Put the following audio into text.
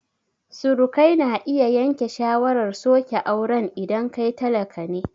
Surukai na iya yanke shawarar soke auren idan kai talaka ne